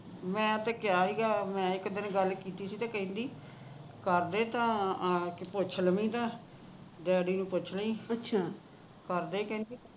ਮੈਂ ਤੇ ਕਿਹਾ ਸੀਗਾ ਮੈਂ ਇੱਕ ਦਿਨ ਗੱਲ ਕੀਤੀ ਸੀ ਤੇ ਕਹਿੰਦੀ ਘਰ ਦੇ ਤਾ ਆਂ ਕੇ ਪੁੱਛ ਲਵੀ ਦਾ ਡੈਡੀ ਨੂੰ ਪੁੱਛ ਲਵੀ ਘਰਦੇ ਕਹਿੰਦੀ